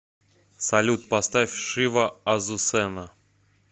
салют поставь шива азусена